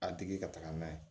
A tigi ka taga n'a ye